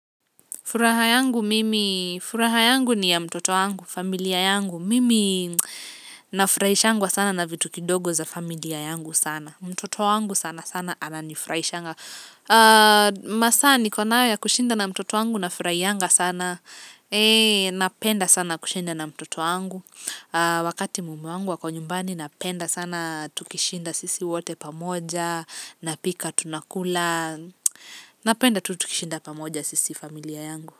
Furaha yangu mimi furaha yangu ni ya mtoto wangu familia yangu mimi nafurahishangwa sana na vitu kidogo za familia yangu sana. Mtoto wangu sana sana ananifurahishanga. Masaa niko nayo ya kushinda na mtoto yangu nafurahianga sana. Eeeh, napenda sana kushinda na mtoto wangu. Wakati mume wangu ako nyumbani napenda sana. Tukishinda sisi wote pamoja. Napika tunakula. Napenda tu tukishinda pamoja sisi familia yangu.